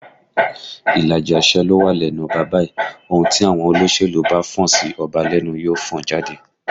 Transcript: Ìlàjì àṣẹ ló wà lẹ́nu ọba báyìí, ohùn tí àwọn olóṣèlú bá fọn sí ọba lẹ́nu ni yóò fọn jáde